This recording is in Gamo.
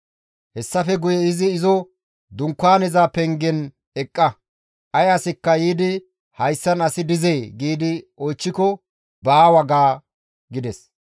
Hessafe guye izi izo, «Dunkaaneza pengen eqqa; Ay asikka yiidi, ‹Hayssan asi dizee?› giidi nena oychchiko, ‹Baawa› ga» gides.